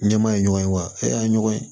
Ɲɛmaa ye ɲɔgɔn ye wa e y'a ye ɲɔgɔn ye